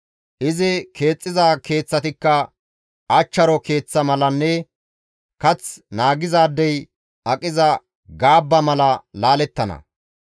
Izi keexxiza keeththatikka achcharo keeththa malanne kath naagizaadey aqiza gaabba mala laalettana.